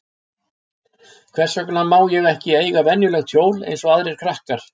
Hvers vegna má ég ekki eiga venjulegt hjól eins og aðrir krakkar?